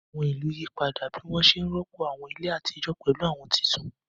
Àwọn ìlú yí padà bí wọ́n ṣe rọ́pò àwọn ilé àtijọ́ pẹ̀lú àwọn tuntun.